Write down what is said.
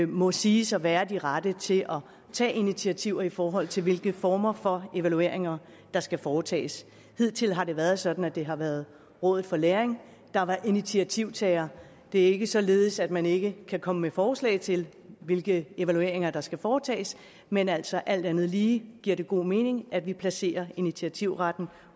må siges at være de rette til at tage initiativer i forhold til hvilke former for evalueringer der skal foretages hidtil har det været sådan at det har været rådet for læring der har været initiativtagere det er ikke således at man ikke kan komme med forslag til hvilke evalueringer der skal foretages men altså alt andet lige giver det god mening at vi placerer initiativretten